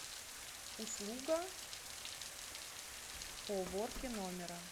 услуга по уборке номера